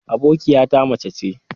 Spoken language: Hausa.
Abokiyata mace ce.